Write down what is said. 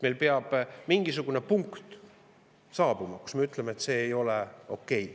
Peab saabuma mingisugune punkt, kui me ütleme, et see ei ole okei.